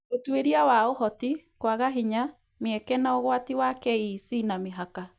Ũtuĩria wa Ũhoti, kwaga hinya, mĩeke, na ũgwati wa KEC na mĩhaka